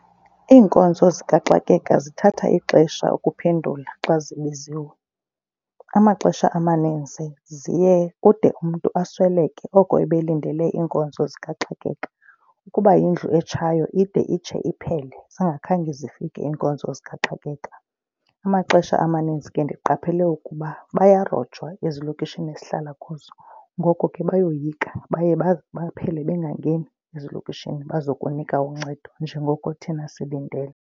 Iinkonzo zikaxakeka zithatha ixesha ukuphendula xa zibiziwe. Amaxesha amaninzi kude umntu asweleke oko ebelindele iinkonzo zikaxakeka. Ukuba yindlu etshayo ide itshe iphele zingakhange zifike iinkonzo zikaxakeka. Amaxesha amaninzi ke ndiqaphele ukuba bayarojwa ezilokishini esihlala kuzo, ngoko ke bayoyika. Baye baphele bengangeni ezilokishini bazokunika uncedo njengoko thina silindele.